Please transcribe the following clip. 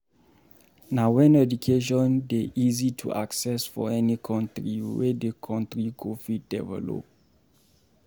Na when education dey easy to access for any country wey de country go fit develop